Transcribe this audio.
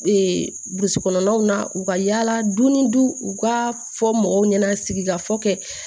burusi kɔnɔnaw na u ka yala du ni du u ka fɔ mɔgɔw ɲɛna sigika fɔ kɛ